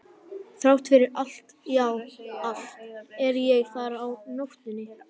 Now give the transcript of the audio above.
Þrátt fyrir allt, já, allt, er ég þar á nóttunni.